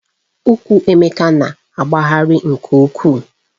Ukwú Emeka na-aghọghari nke ukwuu